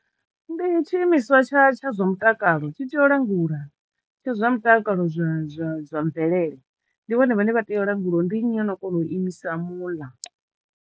Ndi tshi imiswa tsha tsha zwa mutakalo tshi tea u langula tsha zwa mutakalo zwa zwa zwa mvelele ndi vhone vhane vha teyo u langulaho ndi nnyi o no kona u imisa muḽa.